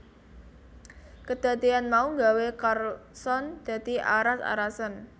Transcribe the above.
Kedadeyan mau gawé Carlson dadi aras arasen